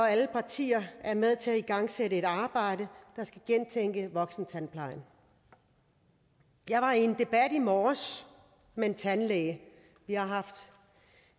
at alle partier er med til at igangsætte et arbejde der skal gentænke voksentandplejen jeg var i en debat i morges med en tandlæge vi har haft